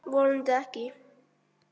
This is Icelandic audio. Vonandi ekki.